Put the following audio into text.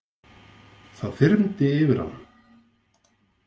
Það þyrmdi yfir hann.